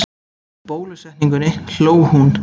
Í bólusetningunni hló hún.